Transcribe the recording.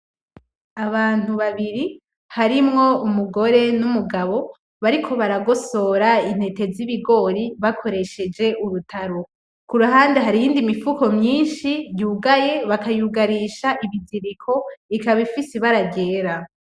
Abantu babiri harimwo umugore numugabo bariko baragosora intete zibigori bakoresheje urutaro , kuruhande hari iyindi mufuko myinshi yugaye bakayugarisha ibiziriko ikaba ifise ibara ryera .